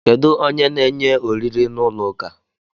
Kedu onye na enye oriri na ụlọ ụka?